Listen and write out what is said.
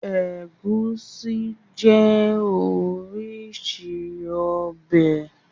Ẹgùsí jẹ́ orísìí ọbẹ̀.